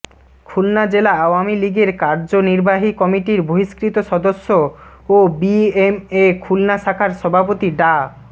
খুলনা জেলা আওয়ামী লীগের কার্যনির্বাহী কমিটির বহিষ্কৃত সদস্য ও বিএমএ খুলনা শাখার সভাপতি ডা